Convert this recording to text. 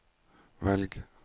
velg